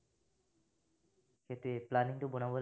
সেইটোৱেই planning টো বনাব লাগিব।